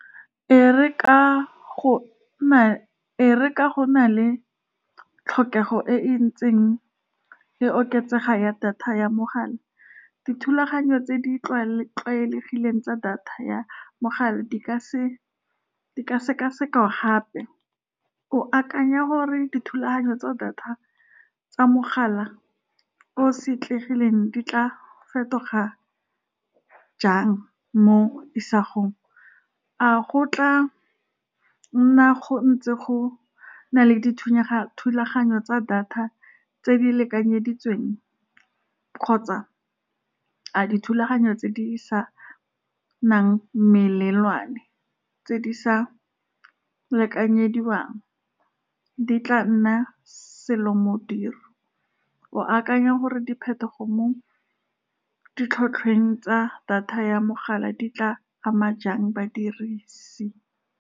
E re ka , e re ka go na le tlhokego e e ntseng e oketsega ya data ya mogala, dithulaganyo tse di tlwaelegileng tsa data ya mogala di ka , di ka sekwa-sekwa gape. O akanya gore dithulaganyo tsa data tsa mogala o setlegileng di tla fetoga jang mo isagong, a go tla nna go ntse go na le dithulaganyo tsa data tse di lekanyeditsweng, kgotsa a dithulaganyo tse di se nang melelwane, tse di sa lekanyediwang, di tla nna selomodiro, o akanya gore diphetogo mo ditlhatlhweng tsa data ya mogala di tla ama jang badirisi.